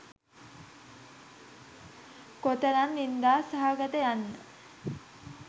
කොතරම් නින්දා සහගත යන්න